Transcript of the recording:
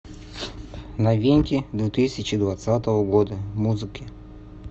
новинки две тысячи двадцатого года музыки